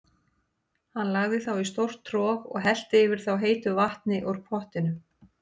Hann lagði þá í stórt trog og hellti yfir þá heitu vatni úr pottinum.